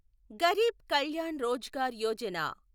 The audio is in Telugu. గరీబ్ కల్యాణ్ రోజ్గార్ యోజన